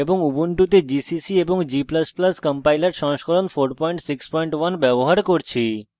এবং উবুন্টুতে gcc এবং g ++ compiler সংস্করণ 461 ব্যবহার করছি